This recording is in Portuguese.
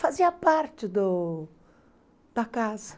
Fazia parte da casa.